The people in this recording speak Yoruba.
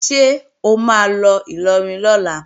Ṣé o máa lọ Ìlọrin lọ́la?